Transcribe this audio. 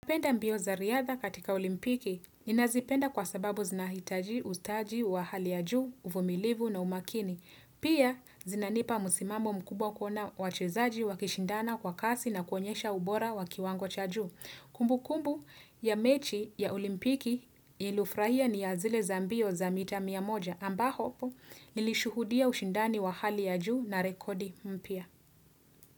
Napenda mbio za riadha katika olimpiki ninazipenda kwa sababu zinahitaji ustaji wa hali ya juu, uvumilivu na umakini. Pia zinanipa msimamo mkubwa kuona wachezaji wakishindana kwa kasi na kuonyesha ubora wa kiwango cha juu. Kumbu kumbu ya mechi ya olimpiki ilufrahia ni ya zile za mbio za mita mia moja ambao nilishuhudia ushindani wa hali ya juu na rekodi mpya.